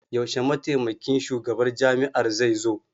Yaushe Mataimakin Shugaban Jami'ar zai zo?